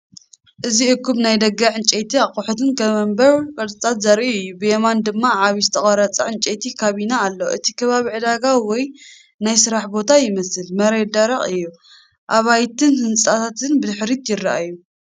እዚ እኩብ ናይ ደገ ዕንጨይቲ ኣቑሑት፡ ከም መንበርን ቅርጻታትን ዘርኢ እዩ። ብየማን ድማ ዓቢ ዝተቐርጸ ዕንጨይቲ ካቢነ ኣሎ። እቲ ከባቢ ዕዳጋ ወይ ናይ ስራሕ ቦታ ይመስል፣ መሬት ደረቕ እዩ፣ ኣባይትን ህንጻታትን ብድሕሪት ይረኣዩ።